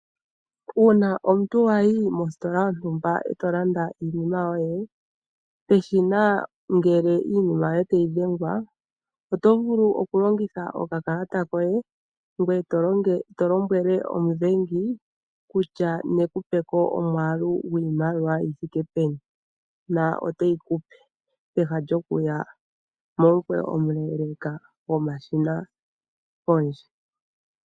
Uuna omuntu wayi mositola yontumba etolanda iinima yoye, peshina ngele iinima yoye tayi dhengwa otovulu okulongitha okakalata koye gwe tolombwele omudhengi ekupe kutya nekupeko omwaalu gwiimaliwa yithike peni no to yipewa, peha lyokuya momukweyo omuleeleleka gwomashina pondje.